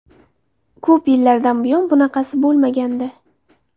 Ko‘p yillardan buyon bunaqasi bo‘lmagandi.